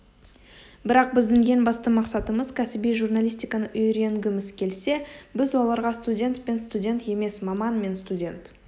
бірақ біздің ең басты мақсатымыз кәсіби журналистиканы үйренгіміз келсе біз оларға студент пен студент емес маман мен студент